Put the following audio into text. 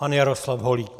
Pan Jaroslav Holík.